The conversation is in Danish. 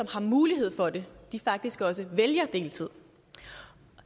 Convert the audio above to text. har mulighed for det faktisk også vælger deltid